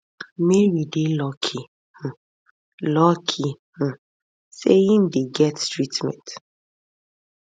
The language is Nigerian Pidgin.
mary dey lucky um lucky um say im dey get treatment